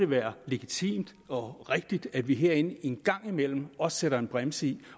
være legitimt og rigtigt at vi herinde en gang imellem også sætter en bremse i